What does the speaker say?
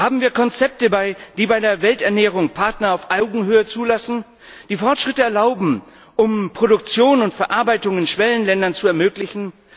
Haben wir Konzepte, die bei der Welternährung Partner auf Augenhöhe zulassen, die Fortschritte erlauben, um Produktion und Verarbeitung in Schwellenländern zu ermöglichen?